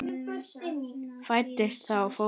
Fæddist þá fótur.